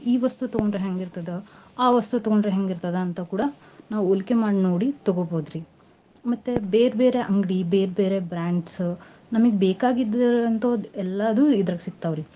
ಈ ವಸ್ತು ತೂಗೋಂಡ್ರ ಹೆಂಗ್ ಇರ್ತದ ಆ ವಸ್ತು ತೊಗೋಂಡ್ರ ಹೆಂಗ್ ಇರ್ತದ ಅಂತ ಕೂಡ ನಾವ್ ಹೋಲಿಕೆ ಮಾಡ್ ನೋಡಿ ತೊಗೋಬೌದ್ರಿ ಮತ್ತೆ ಬೇರ್ ಬೇರೆ ಅಂಗ್ಡಿ ಬೇರ್ ಬೇರೇ brands ನಮಿಗ್ ಬೇಕಾಗಿದ್ರ ಅಂತೊದ್ ಎಲ್ಲಾದು ಇದ್ರಗ್ ಸಿಗ್ತಾವ್ ರಿ.